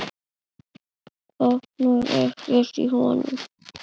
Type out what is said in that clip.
Botnar ekkert í honum.